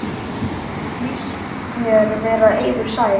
Líst mér vera eiður sær.